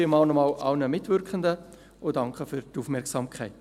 Vielen Dank nochmals an alle Mitwirkenden, und danke für die Aufmerksamkeit.